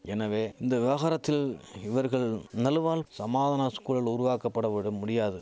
எனவே இந்த விவகாரத்தில் இவர்கள் நழுவால் சமாதான ஸ்குழல் உருவாக்கபட வடு முடியாது